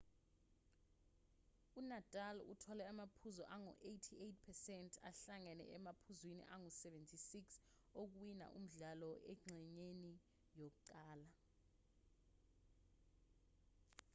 unadal uthole amaphuzu angu-88% ahlangene emaphuzwini angu-76 okuwina umdlalo engxenyeni yokuqala